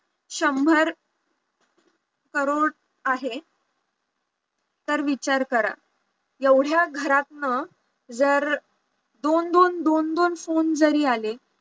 शंभर करोड आहे तर विचार करा एवढ्या घरातनं जर दोन दोन, दोन दोन phone जरी आले